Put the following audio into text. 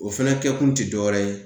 O fɛnɛ kɛ kun ti dɔwɛrɛ ye